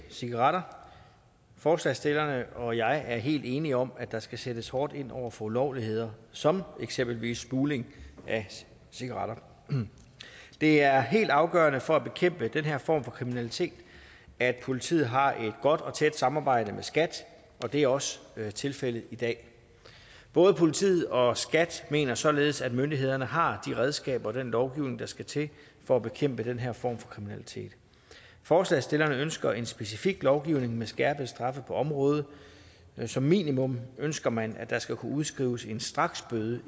cigaretter forslagsstillerne og jeg er helt enige om at der skal sættes hårdt ind over for ulovligheder som eksempelvis smugling af cigaretter det er helt afgørende for at bekæmpe den her form for kriminalitet at politiet har et godt og tæt samarbejde med skat og det er også tilfældet i dag både politiet og skat mener således at myndighederne har de redskaber og den lovgivning der skal til for at bekæmpe den her form for kriminalitet forslagsstillerne ønsker en specifik lovgivning med skærpede straffe på området som minimum ønsker man at der skal kunne udskrives en straksbøde